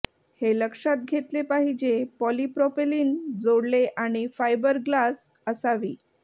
हे लक्षात घेतले पाहिजे पॉलिप्रॉपेलिन जोडले आणि फायबरग्लास असावी